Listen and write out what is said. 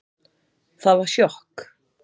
Það var sjokk